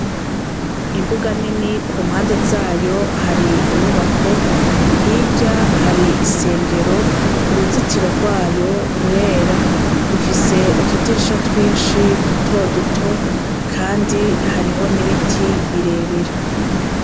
Imbuga nini, ku mpande zayo hari inyubako, hirya hari isengero, uruzitiro rwayo rurera; rufise utudirisha twinshi duto duto kandi hariho n'ibiti birebire.